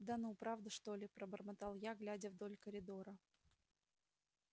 да ну правда что ли пробормотал я глядя вдоль коридора